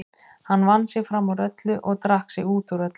Hann vann sig fram úr öllu og drakk sig út úr öllu.